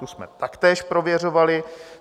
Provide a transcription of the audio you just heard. Tu jsme taktéž prověřovali.